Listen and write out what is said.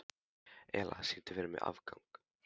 Elía, syngdu fyrir mig „Afgan“.